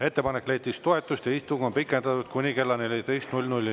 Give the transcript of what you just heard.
Ettepanek leidis toetust ja istung on pikendatud kuni kella 14‑ni.